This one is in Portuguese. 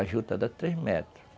A juta dá três metros.